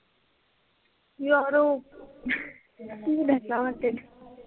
ਯਾਰ ਉਹ, ਕਿ ਦੱਸਾਂ ਮੈਂ ਤੈਨੂੰ?